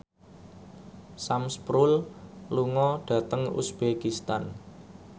Sam Spruell lunga dhateng uzbekistan